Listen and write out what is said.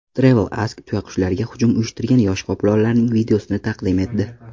TravelAsk tuyaqushlarga hujum uyushtirgan yosh qoplonlarning videosini taqdim etdi .